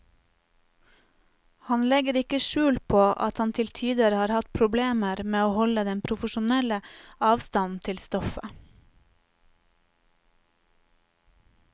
Han legger ikke skjul på at han til tider har hatt problemer med å holde den profesjonelle avstand til stoffet.